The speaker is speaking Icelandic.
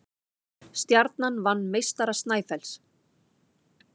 Stjarnan vann meistara Snæfells